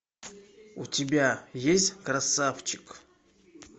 у тебя есть красавчик